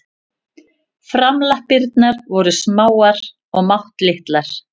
Framlappirnar voru smáar og máttlitlar.